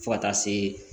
Fo ka taa se